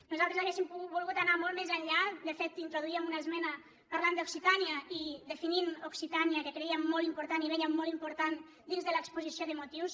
nosaltres hauríem volgut anar molt més enllà de fet introduíem una esmena parlant d’occitània i definint occitània que crèiem molt important i vèiem molt important dins de l’exposició de motius